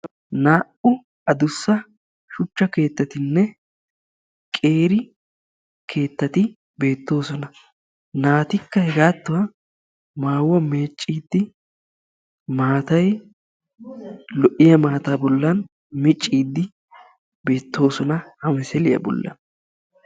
Naa"u addussa shuchcha keettatinna qeeri keettati beettoosona. Naatikka hegaattuwa maayuwa meecciiddi maatay lo"iya maataa bollan micciiddi beettoosona ha misiliya bollan.